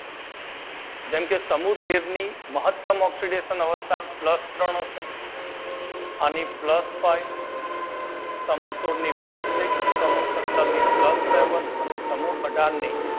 જેમ કે સમૂહ તેર ની મહતમ ઓક્સીડેશન અવસ્થા પ્લસ ત્રણ હશે, આની પ્લસ ફાઇવ, સમૂહ સોળ ની પ્લસ સિક્સ, સમૂહ સતર ની પ્લસ સેવન, સમૂહ અઢાર ની